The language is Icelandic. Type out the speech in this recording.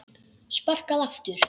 Sparkað aftur.